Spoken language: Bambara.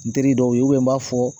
N teri dɔw ye n b'a fɔ